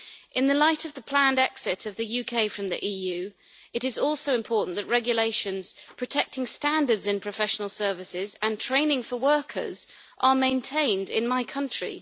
In the light of the planned exit of the UK from the EU, it is also important that regulations protecting standards in professional services and training for workers are maintained in my country.